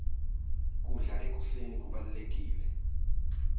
kudla ekuseni kubalulekile